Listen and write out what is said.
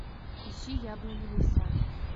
ищи яблоневый сад